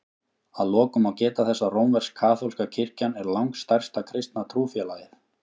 Að lokum má geta þess að rómversk-kaþólska kirkjan er langstærsta kristna trúfélagið.